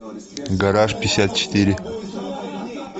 гараж пятьдесят четыре